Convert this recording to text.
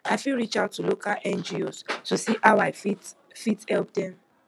i fit reach out to local ngos to see how i fit help fit help dem